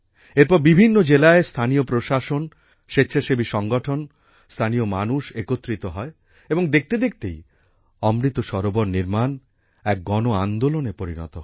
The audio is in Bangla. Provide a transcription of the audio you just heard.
এরপর বিভিন্ন জেলায় স্থানীয় প্রশাসন স্বেচ্ছাসেবী সংগঠন স্থানীয় মানুষ একত্রিত হয় এবং দেখতে দেখতেই অমৃত সরোবর নির্মাণ এক গণআন্দোলনে পরিণত হয়